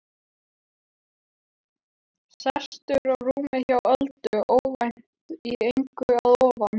Sestur á rúmið hjá Öldu, óvænt, í engu að ofan.